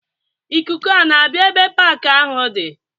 Ikuku a na-abịa ebe paaki ahụ di?